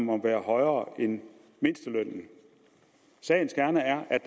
må være højere end mindstelønnen sagens kerne er at